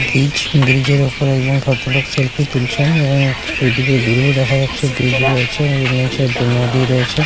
Bridge ব্রিজের উপরে একজন ভদ্রলোক সেলফি তুলছেন এবং ওইদিকে দূরেও দেখা যাচ্ছে ব্রিজ রয়েছে এর নিচে নদী রয়েছে।